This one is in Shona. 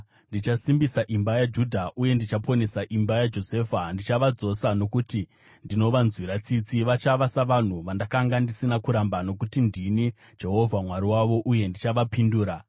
“Ndichasimbisa imba yaJudha uye ndichaponesa imba yaJosefa. Ndichavadzosa nokuti ndinovanzwira tsitsi. Vachava savanhu vandakanga ndisina kuramba, nokuti ndini Jehovha Mwari wavo uye ndichavapindura.